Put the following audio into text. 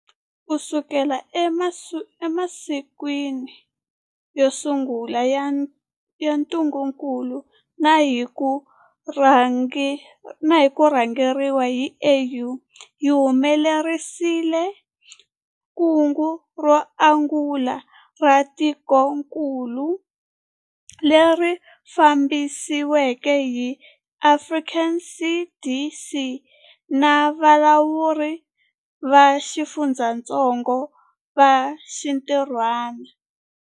Kusuka eka masiku yo sungula ya ntungukulu na hi ku rhangeriwa hi AU, hi humelerisile kungu ro angula ra tikokulu, leri fambisiweke hi Afrika CDC na valawuri va xifundzatsongo va xintirhwana.